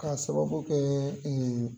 K'a sababu kɛ